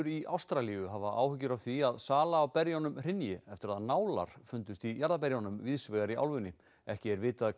í Ástralíu hafa áhyggjur af því að sala á berjunum hrynji eftir að nálar fundust í jarðarberjum víðsvegar í álfunni ekki er vitað